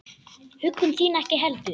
Huggun þín ekki heldur.